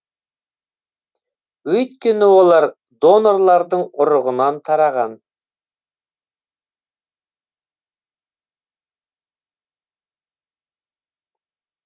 өйткені олар донорлардың ұрығынан тараған